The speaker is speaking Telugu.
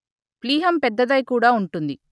ప్లీహం పెద్దదై కూడా ఉంటుంది